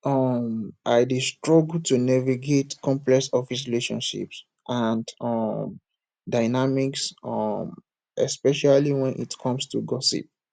um i dey dey struggle to navigate complex office relationships and um dynamics um especially when it come to gossip